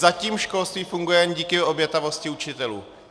Zatím školství funguje jen díky obětavosti učitelů.